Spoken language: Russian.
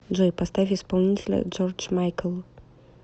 джой поставь исполнителя джордж майкл